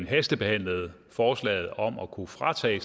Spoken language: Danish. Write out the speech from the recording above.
hastebehandlet forslaget om at kunne fratage